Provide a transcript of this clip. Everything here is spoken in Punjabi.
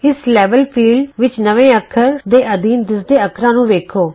ਇਸ ਲੈਵਲ ਖੇਤਰ ਵਿਚ ਨਵੇਂ ਅੱਖਰ ਦੇ ਅਧੀਨ ਦਿੱਸਦੇ ਅੱਖਰਾਂ ਨੂੰ ਵੇਖੋ